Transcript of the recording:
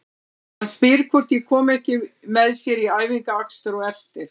Hann spyr hvort ég komi ekki með sér í æfingaakstur á eftir.